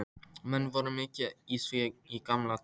Menn voru mikið í því í gamla daga.